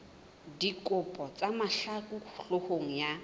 dikgopo tsa mahlaku hloohong ya